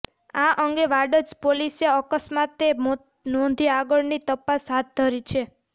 આ અંગે વાડજ પોલીસે અકસ્માતે મોત નોંધી આગળની તપાસ હાથ ધરી છે